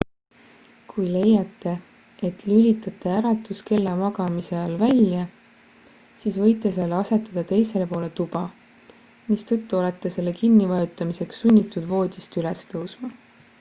kui leiate et lülitate äratuskella magamise ajal välja siis võite selle asetada teisele poole tuba mistõttu olete selle kinni vajutamiseks sunnitud voodist üles tõusma